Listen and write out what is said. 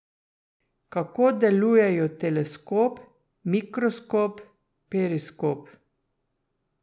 Kako delujejo teleskop, mikroskop, periskop?